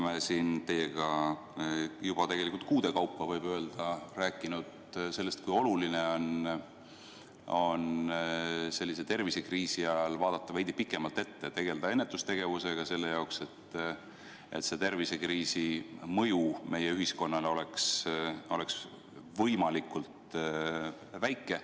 Me oleme siin teiega juba kuude kaupa rääkinud sellest, kui oluline on sellise tervisekriisi ajal vaadata veidi pikemalt ette ja tegelda ennetustegevusega, et praeguse tervisekriisi mõju meie ühiskonnale oleks võimalikult väike.